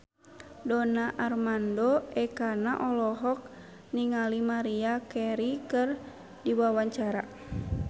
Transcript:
Donar Armando Ekana olohok ningali Maria Carey keur diwawancara